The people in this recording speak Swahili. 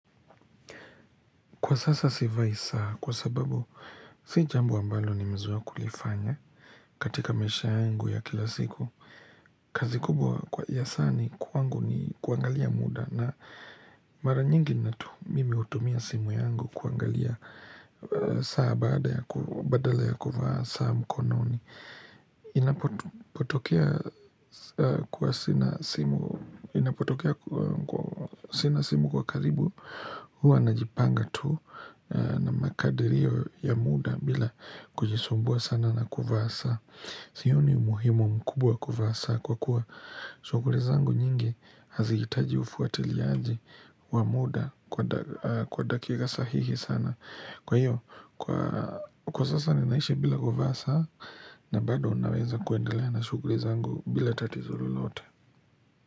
Kwa sasa sivai saa kwa sababu si jambo ambalo nimezoea kulifanya katika maisha yangu ya kila siku. Kazi kubwa ya saa ni kwangu ni kuangalia muda na mara nyingi mimi hutumia simu yangu kuangalia saa badala ya kuvaa saa mkononi. Inapotokea sina simu kwa karibu huwa najipanga tu na makadirio ya muda bila kujisumbua sana na kuvaa saa Sioni umuhimu mkubwa kuvaa saa Kwa kuwa shughuli zangu nyingi Hazihitaji ufuatiliaji wa muda Kwa dakika sahihi sana Kwa hiyo, kwa sasa ninaishi bila kuvaa saa na bado naweza kuendelea na sughuli zangu bila tatizo lolote.